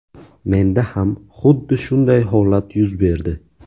Menda ham xuddi shunday holat yuz berdi.